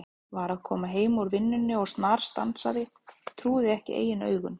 Var að koma heim úr vinnunni og snarstansaði, trúði ekki eigin augum.